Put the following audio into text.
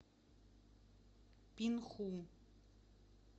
пинху